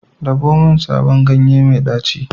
Dabo min sabon ganye mai daci.